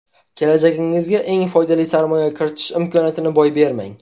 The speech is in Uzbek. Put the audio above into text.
Kelajagingizga eng foydali sarmoya kiritish imkoniyatini boy bermang.